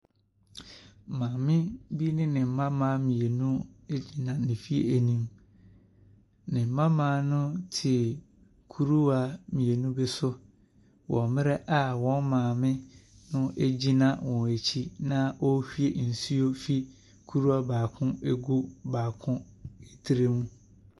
Maame bi ne ne mmammaa mmienu gyina ne fie anim. Ne mmammaa no te kuruwa mmienu bi so wɔ mmerɛ a wɔn maame no gyina wɔn akyi na ɔrehwie nsuo firi kuruwa baako mu regu kuruwa baako tire mu.